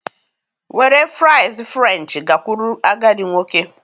Were fries french gakwuru agadi nwoke